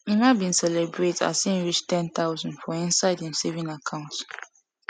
emma bin celebrate as him reach ten thousand for in side im saving account